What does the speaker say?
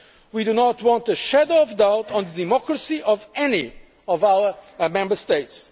We do not want a shadow of doubt on the democracy of any of our Member States.